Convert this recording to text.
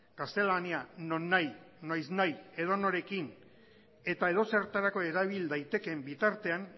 gaztelania nonahi noiznahi edonorekin eta edozertarako erabil daitekeen bitartean